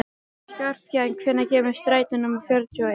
Skarphéðinn, hvenær kemur strætó númer fjörutíu og eitt?